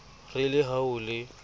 re le ha ho le